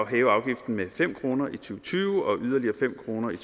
hæve afgiften med fem kroner i to tusind og tyve og yderligere fem kroner i